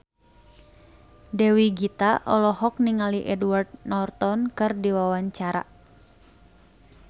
Dewi Gita olohok ningali Edward Norton keur diwawancara